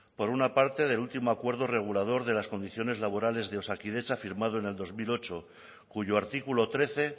por una parte del último acuerdo regulador de las condiciones laborales de osakidetza firmado en el dos mil ocho cuyo artículo trece